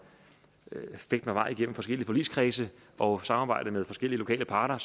fægte mig vej igennem forskellige forligskredse og samarbejde med forskellige lokale parter